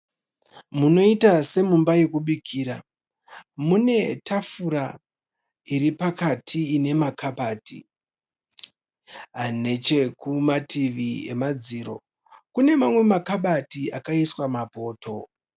Munoita semumba yekubikira mune tafura iri pakati ine makabati. Nechekumativi emadziro kune mamwe makabati akaiswa mapoto.